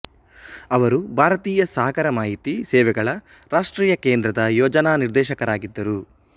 ಅವರು ಭಾರತೀಯ ಸಾಗರ ಮಾಹಿತಿ ಸೇವೆಗಳ ರಾಷ್ಟ್ರೀಯ ಕೇಂದ್ರದ ಯೋಜನಾ ನಿರ್ದೇಶಕರಾಗಿದ್ದರು